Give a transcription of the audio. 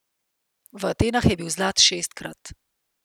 V Atenah je bil zlat šestkrat.